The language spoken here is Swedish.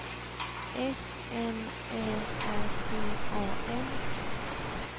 S M Ä R T A N